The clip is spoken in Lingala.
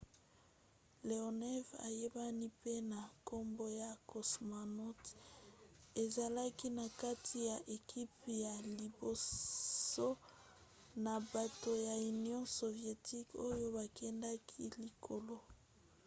leonov ayebani mpe na nkombo ya cosmonaut no. 11 ezalaki na kati ya ekipe ya liboso ya bato ya union sovietique oyo bakendaki likolo